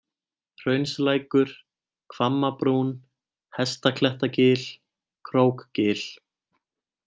Hraunslækur, Hvammabrún, Hestaklettagil, Krókgil